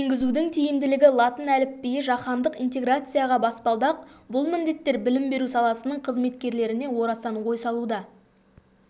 енгізудің тиімділігі латын әліпбиі жаһандық интеграцияға баспалдақ бұл міндеттер білім беру саласының қызметкерлеріне орасан ой салуда